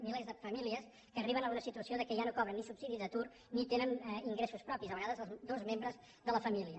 milers de famílies que arriben a una situació que ja no cobren ni subsidi d’atur ni tenen ingressos propis a vegades els dos membres de la família